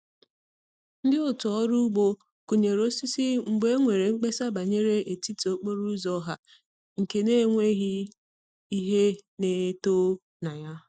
Ndi otu ọrụ ugbo kunyere osisi mgbe e nwere mkpesa banyere etiti okporo ụzọ ọha nke n'enweghị ihe na-eto na ya.